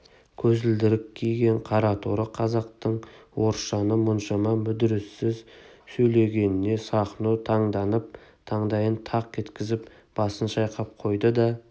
көзілдірік киген қараторы қазақтың орысшаны мұншама мүдіріссіз сөйлегеніне сахно таңданып таңдайын тақ еткізіп басын шайқап қойды да